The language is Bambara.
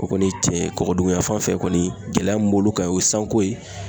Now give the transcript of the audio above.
O kɔni ye tiɲɛ ye .Kɔkɔ dukuyan fan fɛ kɔni gɛlɛya min b'olu kan o ye sanko ye.